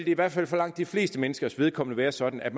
i hvert fald for langt de fleste menneskers vedkommende være sådan at